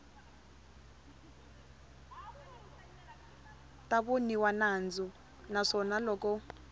ta voniwa nandzu naswona loko